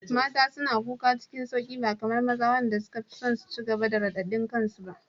Mata suna kuka cikin sauƙi ba kamar maza waɗanda suka fi son su ci gaba da radadin kansu ba.